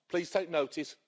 Please take notice.